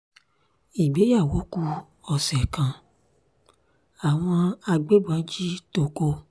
ìgbéyàwó ku ọ̀sẹ̀ kan àwọn agbébọn jí toko